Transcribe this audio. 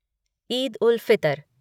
Eid-ul-Fitr